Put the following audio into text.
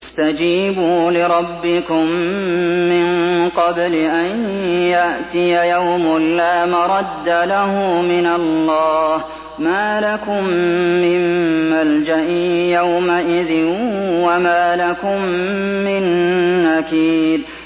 اسْتَجِيبُوا لِرَبِّكُم مِّن قَبْلِ أَن يَأْتِيَ يَوْمٌ لَّا مَرَدَّ لَهُ مِنَ اللَّهِ ۚ مَا لَكُم مِّن مَّلْجَإٍ يَوْمَئِذٍ وَمَا لَكُم مِّن نَّكِيرٍ